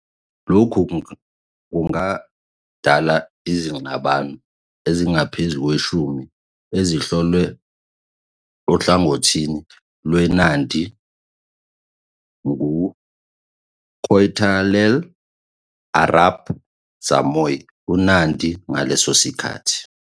Lokhu kungadala izingxabano ezingaphezu kweshumi eziholelwe ohlangothini lweNandi nguKoitalel Arap Samoei, uNandi ngaleso sikhathi.